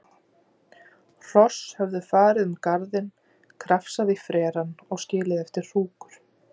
Hross höfðu farið um garðinn, krafsað í frerann og skilið eftir hrúkur.